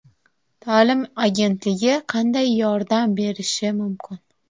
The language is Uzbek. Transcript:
Ta’lim agentligi qanday yordam berishi mumkin?